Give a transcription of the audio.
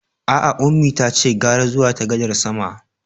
A'a, Ummi tace gara zuwa ta gadar sama.